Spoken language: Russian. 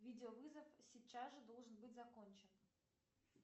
видеовызов сейчас же должен быть закончен